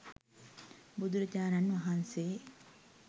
බුදු රජාණන් වහන්සේ